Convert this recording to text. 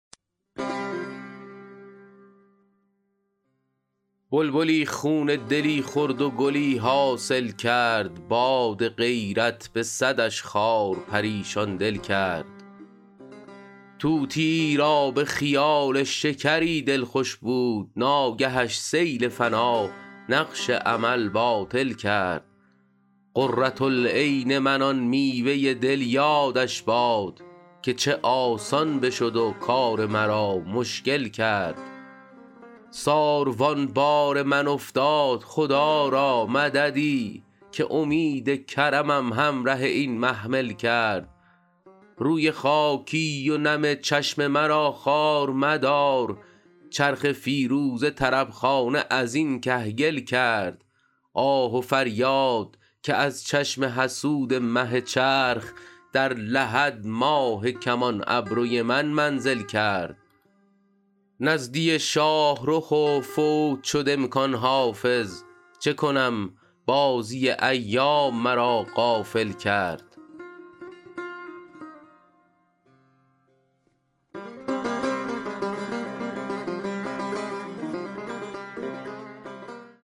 بلبلی خون دلی خورد و گلی حاصل کرد باد غیرت به صدش خار پریشان دل کرد طوطیی را به خیال شکری دل خوش بود ناگهش سیل فنا نقش امل باطل کرد قرة العین من آن میوه دل یادش باد که چه آسان بشد و کار مرا مشکل کرد ساروان بار من افتاد خدا را مددی که امید کرمم همره این محمل کرد روی خاکی و نم چشم مرا خوار مدار چرخ فیروزه طرب خانه از این کهگل کرد آه و فریاد که از چشم حسود مه چرخ در لحد ماه کمان ابروی من منزل کرد نزدی شاه رخ و فوت شد امکان حافظ چه کنم بازی ایام مرا غافل کرد